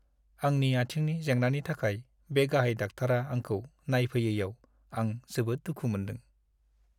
आंनि आथिंनि जेंनानि थाखाय बे गाहाय डाक्टारआ आंखौ नायफैयैयाव आं जोबोद दुखु मोनदों।